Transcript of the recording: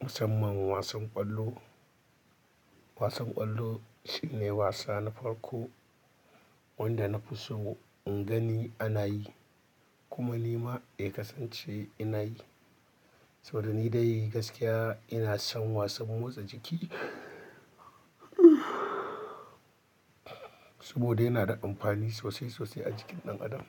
Musamman wasan ƙwallo, wasan ƙwallo shine wasa na farko wanda na fi so in gani ana yi, kuma ni ma dai kasance ina yi. Saboda ni da ya yi gaskiya ina son wasan motsa jiki, saboda yana da amfani sosai sosai a jikin ɗan adam.